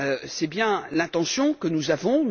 C'est bien l'intention que nous avons.